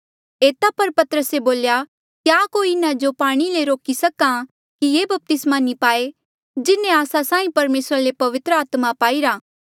एता पर पतरसे बोल्या क्या कोई इन्हा जो पाणी ले रोकी सक्हा कि ये बपतिस्मा नी पाए जिन्हें आस्सा साहीं परमेसरा ले पवित्र आत्मा पाईरा